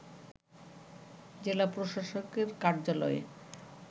জেলা প্রশাসকের কার্যালয়ে